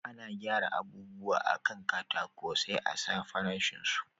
Ana gyara abubuwa a kan katako sai a sa farashin su